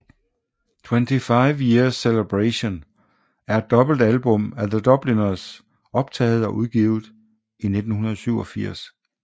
25 Years Celebration er et dobbeltalbum af The Dubliners optaget og udgivet i 1987